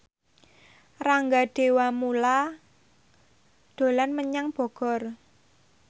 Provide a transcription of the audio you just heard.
Rangga Dewamoela dolan menyang Bogor